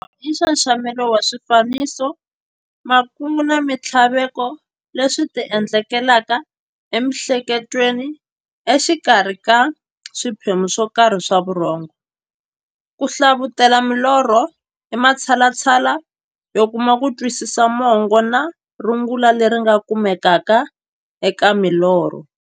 Norho i nxaxamelo wa swifaniso, makungu na minthlaveko leswi ti endlekelaka e mi'hleketweni exikarhi ka swiphemu swokarhi swa vurhongo. Ku hlavutela milorho i matshalatshala yo kuma kutwisisa mungo na rungula leri nga kumekaka eka milorho.